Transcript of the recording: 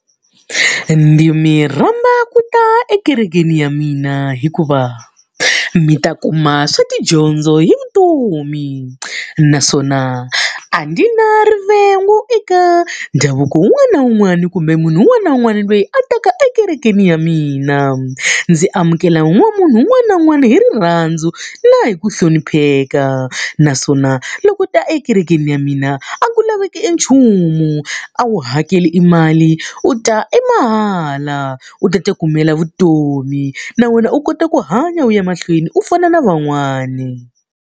Ndzi mi rhamba ku ta ekerekeni ya mina hikuva mi ta kuma swa tidyondzo hi vutomi, naswona a ndzi na rivengo eka ndhavuko wun'wana na wun'wana kumbe munhu un'wana na un'wana loyi a taka ekerekeni ya mina. Ndzi amukela munhu un'wana na un'wana hi rirhandzu na hi ku hlonipheka. Naswona loko u ta ekerekeni ya mina, a ku laveki enchumu, a wu hakeli e mali, u ta emahala, u ta ti kumela vutomi na wena u kota ku hanya u ya mahlweni u fana na van'wani.